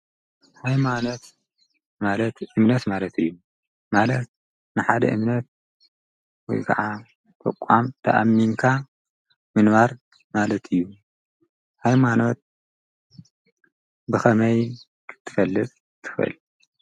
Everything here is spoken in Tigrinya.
ሃይማኖት ማለት እምነት ማለት እዩ፣ ማለት ንሓደ እምነት ወይ ከዓ ዕቃም ተኣሚንካ ምንባር ማለት እዩ። ሃይማኖት ብኸመይ ክትፈልጥ ትኽእል።